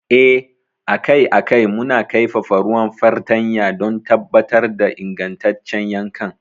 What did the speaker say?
Eh, akai a kai muna kaifafa ruwan fartanya don tabbatar da ingantaccen yankan.